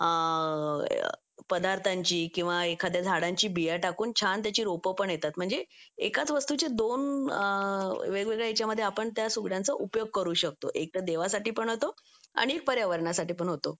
पदार्थांची किंवा एखाद्या झाडाची बिया टाकून छान त्याची रोप पण येतात म्हणजे एकाच वस्तूचे दोन वेगवेगळ्या ह्याच्यामध्ये त्या सुगड्यांचा उपयोग करू शकतो एक तर देवासाठी पण होतो आणि पर्यावरणासाठी पण होतो